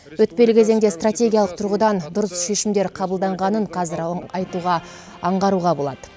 өтпелі кезеңде стратегиялық тұрғыдан дұрыс шешімдер қабылданғанын қазір айтуға аңғаруға болады